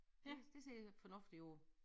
Det det ser fornuftigt ud